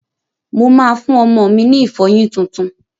Mo máa fún ọmọ mi ní ìfọyín tuntun.